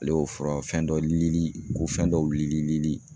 Ale y'o fura fɛn dɔ lili , ko fɛn dɔ wili li.